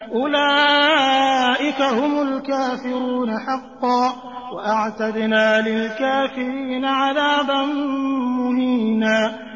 أُولَٰئِكَ هُمُ الْكَافِرُونَ حَقًّا ۚ وَأَعْتَدْنَا لِلْكَافِرِينَ عَذَابًا مُّهِينًا